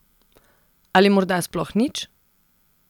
Ali morda sploh nič?